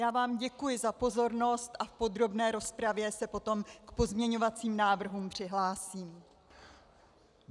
Já vám děkuji za pozornost a v podrobné rozpravě se potom k pozměňovacím návrhům přihlásím.